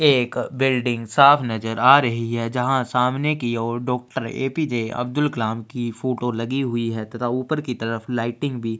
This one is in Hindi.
एक बिल्डिंग साफ नज़र आ रही है जहाँ सामने की और doctor A. P. J. Abdul Kalam की फ़ोटो लगी हुई है तथा ऊपर की तरफ लाइटिंग भी --